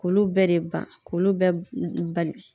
K'olu bɛɛ de ban k'olu bɛɛ bali.